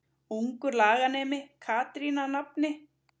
Ungur laganemi Katrín að nafni.